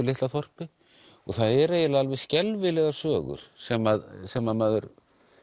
litla þorpi og það er eiginlega alveg skelfilegar sögur sem sem maður